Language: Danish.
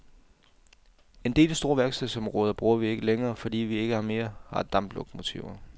En del store værkstedsområder bruger vi ikke længere, fordi vi ikke mere har damplokomotiver.